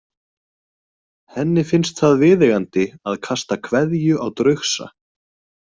Henni finnst það viðeigandi að kasta kveðju á draugsa.